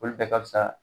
Olu bɛɛ ka fisa